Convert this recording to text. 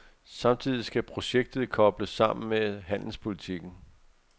Samtidig skal projektet kobles sammen med handelspolitikken.